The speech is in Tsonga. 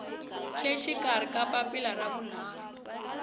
le xikarhi papila ra vunharhu